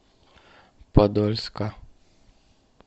подольска